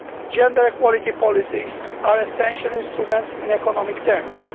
Gender equality policies are essential instruments in economic terms.